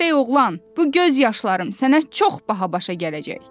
Səfəh oğlan, bu göz yaşlarım sənə çox baha başa gələcək.